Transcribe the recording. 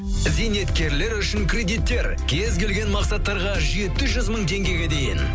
зейнеткерлер үшін кредиттер кез келген мақсаттарға жеті жүз мың теңгеге дейін